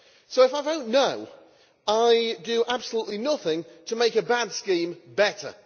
So if I vote no' I do absolutely nothing to make a bad scheme better.